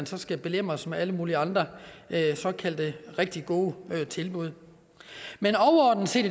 så skal belemres med alle mulige andre såkaldt rigtig gode tilbud men overordnet set